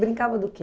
Brincava do quê?